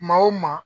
Maa o maa